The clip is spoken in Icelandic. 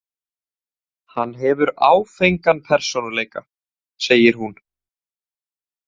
Hann hefur áfengan persónuleika, segir hún.